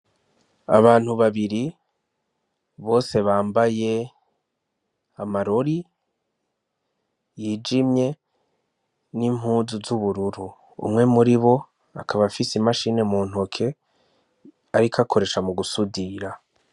Abantu babiri, bose bambaye amarori yijimye n'impuzu z'ubururu, umwe muri bo, akaba afise imashini muntoke ariko akoresha mugusudira.